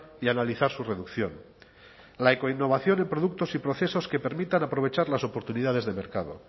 y analizar su reducción la ecoinnovación en productos y procesos que permitan aprovechar las oportunidades de mercado